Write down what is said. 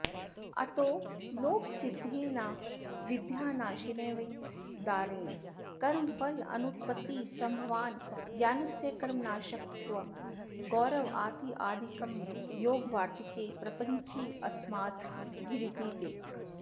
अतो लोकसिद्धेनाविद्यानाशेनैव द्वारेण कर्मफलानुत्पत्तिसम्भवान्न ज्ञानस्य कर्मनाशकत्वं गौरवादित्यादिकं योगवार्त्तिके प्रप्रञ्चितमस्माभिरिति दिक्